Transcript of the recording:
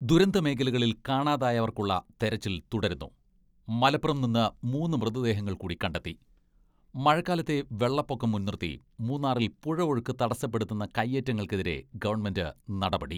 ദുരന്ത മേഖലകളിൽ കാണാതായവർക്കുള്ള തെരച്ചിൽ തുടരുന്നു , മലപ്പുറം നിന്ന് മൂന്ന് മൃതദേഹങ്ങൾ കൂടി കണ്ടെത്തി മഴക്കാലത്തെ വെള്ളപ്പൊക്കം മുൻനിർത്തി മൂന്നാറിൽ പുഴ ഒഴുക്ക് തടസ്സപ്പെടുത്തുന്ന കൈയേറ്റങ്ങൾക്കെതിരെ ഗവൺമെന്റ് നടപടി